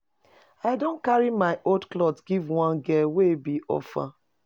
I don carry my old clothes give one girl wey be orphan.